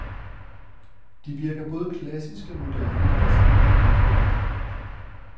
De virker både klassiske og moderne i deres enkle udformning.